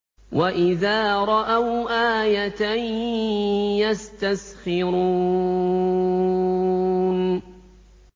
وَإِذَا رَأَوْا آيَةً يَسْتَسْخِرُونَ